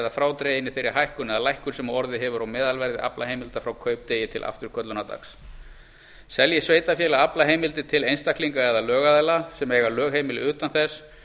frádreginni þeirri hækkun eða lækkun sem orðið hefur á meðalverði aflaheimilda frá kaupdegi til afturköllunardags selji sveitarfélag aflaheimildir til einstaklinga eða lögaðila sem eiga lögheimili utan þess